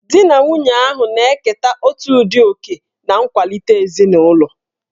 Di na nwunye ahụ na-eketa otu ụdị oke na nkwalite ezinụlọ